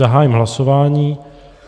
Zahájím hlasování.